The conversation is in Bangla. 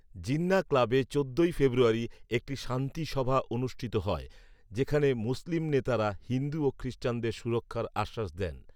জিন্নাহ ক্লাবে চোদ্দোই ফেব্রুয়ারি একটি শান্তি সভা অনুষ্ঠিত হয়, যেখানে মুসলিম নেতারা হিন্দু ও খ্রিস্টানদের সুরক্ষার আশ্বাস দেন